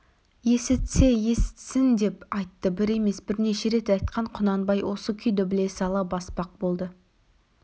есітсе есітсін деп айтты бір емес бірнеше рет айтқан құнанбай осы күйді біле сала баспақ болды